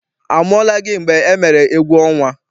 A mụọla gị mgbe emere egwuọnwa?